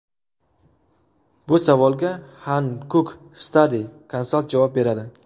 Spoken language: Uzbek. Bu savolga Hankuk Study Consalt javob beradi!.